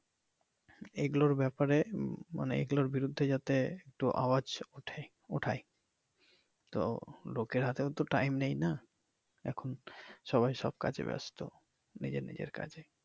এইগুলোর ব্যাপারে মানি এইগুলোর বিরুদ্ধে যাতে আওয়াজ উঠাই তো লোকের হাতেও তো টাইম নেই তাইনা এখন সবাই সব কাজে ব্যাস্ত নিজে নিজের কাজে।